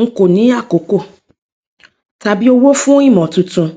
n kò ní àkókò tàbí owó fún ìmọ tuntun